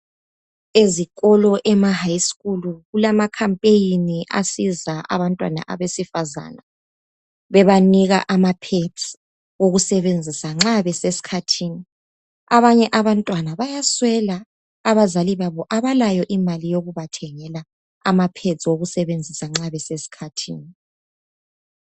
Ezikolo ema High School kulama campaign asiza abantwana abesifazane bebanika amapads okusebenzisa nxa besesikhathini abanye abantwana bayaswela, abazali babo abalayo imali yokubathengela amapads wokusebenzisa nxa besesikhathini